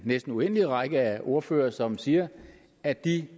næsten uendelige række af ordførere som siger at de